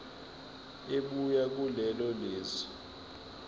ebuya kulelo lizwe